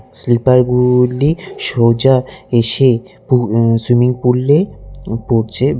Sleeper -গুলি সোজা এসে পু অ্যা সুইমিং পুল -এ পড়ছে।